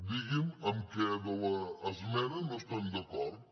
digui’m amb què de l’esmena no estan d’acord